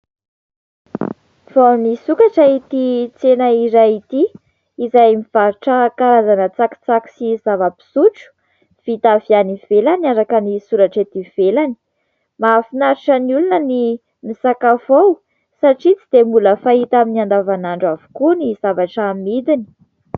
Vao nisokatra ity tsena iray ity izay mivarotra karazana tsakitsaky sy zava-pisotro vita avy any ivelany araka ny soratra eto ivelany. Mahafinaritra ny olona ny misakafo ao satria tsy dia mbola fahita amin'ny andavanandro avokoa ny zavatra amidiny.